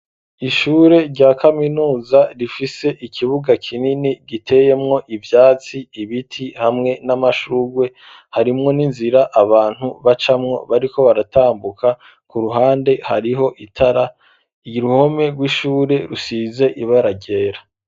Ishure rya kaminuza rifise ikibuga kinini giteyemwo ivyatsi ibiti hamwe n'amashurwe harimwo n'inzira abantu bacamo bariko baratambuka ku ruhande hariho itara y'uruhome rw'ishure rusize ibara ryera.